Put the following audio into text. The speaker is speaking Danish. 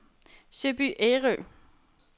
Søby Ærø